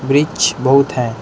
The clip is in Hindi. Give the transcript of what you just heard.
ब्रिज बहुत है।